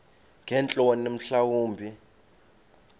ngeentloni mhla wumbi